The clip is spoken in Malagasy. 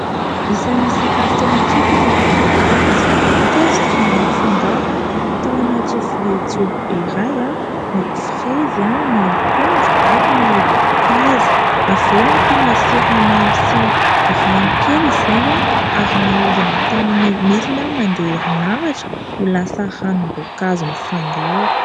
Isany sakafo tena tiko ny voankazo, teto dia nafangaro tao anaty vilia jobo be iray : ny frezy, ny akondro ary ny mpaza. Aveo nampiana siramamy sy rano kely izany , ary nahodina tamin'ny milina mandeha herinaratra ho lasa ranom-boankazo mifangaro.